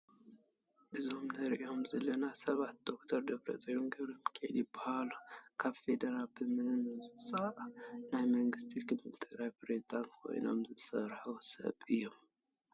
እዞም ንሪኦም ዘለና ሰብ ዶክተር ደብረፅዮን ገብረሚካኤል ይበሃሉ፡፡ ካብ ፌደራል ብምምፃእ ናይ መንግስቲ ክልል ትግራይ ፕረዚደንት ኮይኖም ዝሰርሑ ሰብ እዮም፡፡